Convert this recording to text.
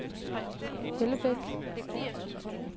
Hellebæk